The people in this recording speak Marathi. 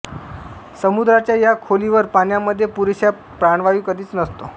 समुद्राच्या या खोलीवर पाण्यामध्ये पुरेसा प्राणवायू कधीच नसतो